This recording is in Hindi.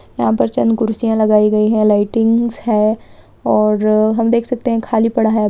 यहाँ पर चंद कुर्सिया लगाई है लाइटिंगस है और हम देख सकते खाली पड़ा है।